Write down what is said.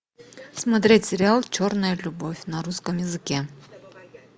смотреть сериал черная любовь на русском языке